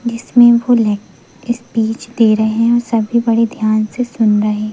जिसमें फूल है स्पीच दे रहे हैं और सभी बड़े ध्यान से सुन रहे--